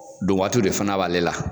Donwaati de fana b'ale la